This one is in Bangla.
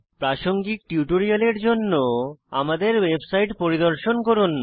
প্রাসঙ্গিক টিউটোরিয়ালের জন্য আমাদের ওয়েবসাইট পরিদর্শন করুন